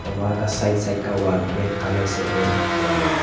वहाँ का side side का वॉल रेड कलर से पेंट किया हुआ है।